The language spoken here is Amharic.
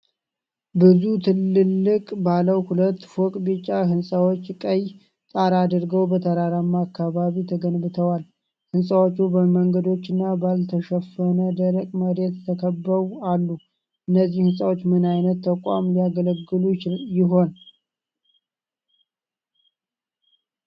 ብዙ ትላልቅ፣ ባለ ሁለት ፎቅ ቢጫ ህንጻዎች ቀይ ጣራ አድርገው በተራራማ አካባቢ ተገንብተዋል። ህንጻዎቹ በመንገዶችና ባልተሸፈነ ደረቅ መሬት ተከበው አሉ። እነዚህ ህንጻዎች ምን ዓይነት ተቋም ሊያገለግሉ ይሆን?